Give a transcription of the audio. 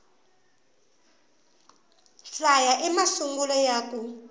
hlaya i masungulo ya ku